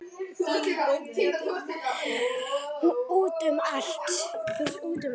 Út um allt.